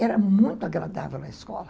Era muito agradável na escola.